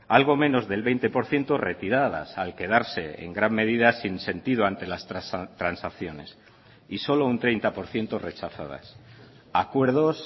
algo menos del veinte por ciento retiradas al quedarse en gran medida sin sentido ante las transacciones y solo un treinta por ciento rechazadas acuerdos